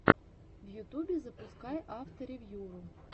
в ютубе запускай авторевьюру